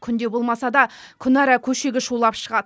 күнде болмаса да күнара көшеге шулап шығады